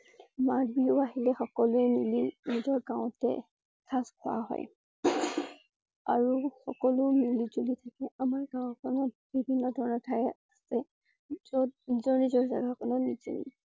মাঘ বিহু আহিলে সকলোৱে মিলি নিজৰ গাওঁতে পিঠা খোৱা হয়। আৰু সকলো মিলিজুলি থাকে আমাৰ গাঁওখনত বিভিন্ন ধৰণৰ ঠাই আছে যত নিজৰ নিজৰ যেগা কনত নিজে